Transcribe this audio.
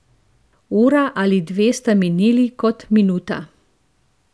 Ura ali dve sta minili kot minuta.